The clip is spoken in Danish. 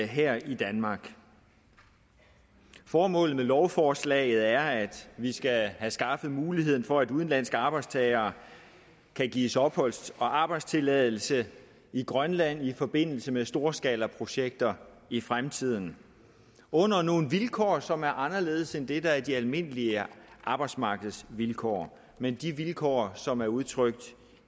her i danmark formålet med lovforslaget er at vi skal have skaffet muligheden for at udenlandske arbejdstagere kan gives opholds og arbejdstilladelse i grønland i forbindelse med storskalaprojekter i fremtiden under nogle vilkår som er anderledes end det der er de almindelige arbejdsmarkedsvilkår men de vilkår som er udtrykt